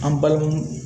An balimamu